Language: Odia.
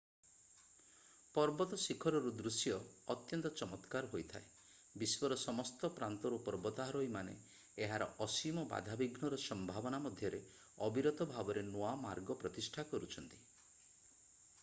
ପର୍ବତ ଶିଖରରୁ ଦୃଶ୍ୟ ଅତ୍ୟନ୍ତ ଚମତ୍କାର ହୋଇଥାଏ ବିଶ୍ୱର ସମସ୍ତ ପ୍ରାନ୍ତରୁ ପର୍ବତାରୋହୀମାନେ ଏହାର ଅସୀମ ବାଧାବିଘ୍ନର ସମ୍ଭାବନା ମଧ୍ୟରେ ଅବିରତ ଭାବରେ ନୂଆ ମାର୍ଗ ପ୍ରତିଷ୍ଠା କରୁଛନ୍ତି